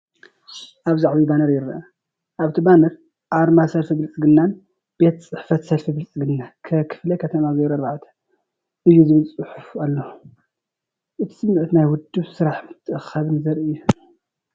ኣብዚ ዓቢይ ባነር ይርአ። ኣብቲ ባነር ኣርማ ሰልፊ ብልጽግናን ቤት ጽሕፈት ሰልፊ ብልጽግና ካ ክፍለ ከተማ ወረዳ 04 እዩ ዝብል ጽሑፍ ኣሎ። እቲ ስምዒት ናይ ውድብ ስራሕን ምትእኽኻብን ዘርኢ እዩ።